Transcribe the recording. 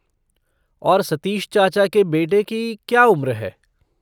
और सतीश चाचा के बेटे की क्या उम्र है?